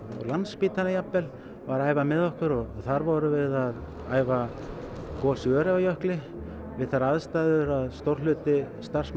Landspítalinn jafnvel var að æfa með okkur og þar vorum við að æfa gos í Öræfajökli við þær aðstæður að stór hluti